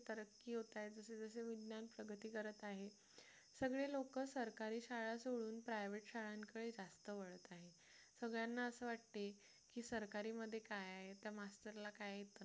तरक्की होत आहे जसं जसं विज्ञान प्रगती करत आहे सगळे लोक सरकारी शाळा सोडून private शाळांकडे जास्त वाढत आहेत सगळ्यांना असं वाटते की सरकारी मध्ये काय आहे त्या master ला काय येतं ना